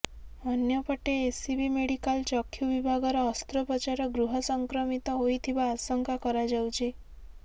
ଅନ୍ୟପଟେ SCB medical ଚକ୍ଷୁ ବିଭାଗର ଅସ୍ତ୍ରୋପଚାର ଗୃହ ସଂକ୍ରମିତ ହୋଇଥିବା ଆଶଙ୍କା କରାଯାଉଛି